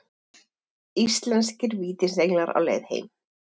Íslenskir vítisenglar á leið heim